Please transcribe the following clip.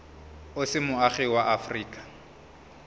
o se moagi wa aforika